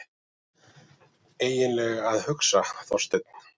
EIGINLEGA AÐ HUGSA, ÞORSTEINN!